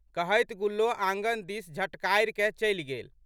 कहैत गुल्लो आँगन दिस झटकारिकए चलि गेल।